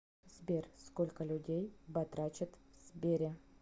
сбер сколько людей батрачат в сбере